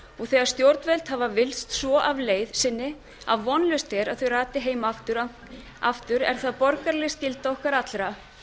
þegar stjórnvöld hafa villst svo af leið sinni að vonlaust er að þau rati heim aftur er það borgaraleg skylda okkar allra